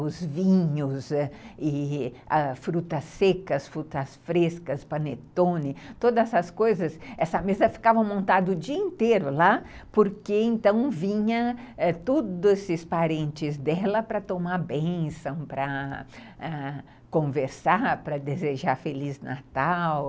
os vinhos, ãh e as frutas secas, frutas frescas, panettone, todas essas coisas, essa mesa ficava montada o dia inteiro lá, porque então vinham todos esses parentes dela para tomar bênção ãh, para conversar, para desejar Feliz Natal.